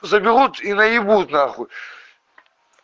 заберут и наебут нахуй